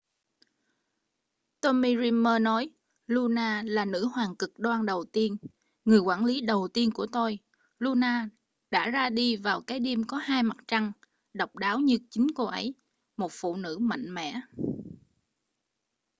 tommy dreamer nói luna là nữ hoàng cực đoan đầu tiên người quản lý đầu tiên của tôi luna đã ra đi vào cái đêm có hai mặt trăng độc đáo như chính cô ấy một phụ nữ mạnh mẽ